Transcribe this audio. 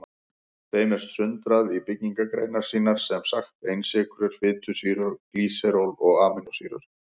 Þeim er sundrað í byggingareiningar sínar, sem sagt einsykrur, fitusýrur og glýseról og amínósýrur.